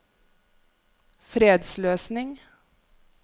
fredsløsning